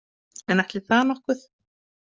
En ætli það nokkuð?